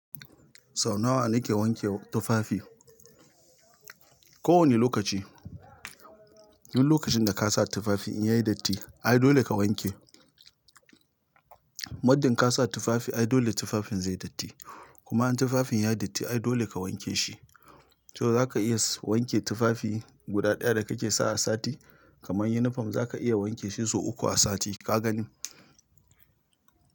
Sau nawa nake wanke tufafi? Ko wane lokaci. Dun lokacin da kasa tufafi in yayi datti ai dole ka wanke. Maddin kasa tufafi ai dole tufafin zai datti. Kuma in tufafin yayi datti ai dole ka wanke shi. To zaka iya wanke tufafi guda ɗaya da kake sawa sati. Kaman unifom zaka iya wanke shi sau uku a sati kagani.